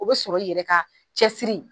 O be sɔrɔ i yɛrɛ ka cɛsiri